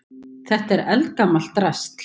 Þetta er eldgamalt drasl.